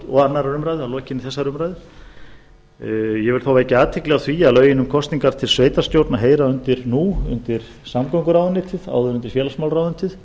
og annarrar umræðu að lokinni þessari umræðu ég vil þó vekja athygli á því að lögin um kosningar til sveitarstjórna heyra nú undir samgönguráðuneytið áður undir félagsmálaráðuneytið